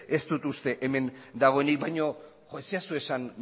ez dut uste hemen dagoenik baina ez zaidazu esan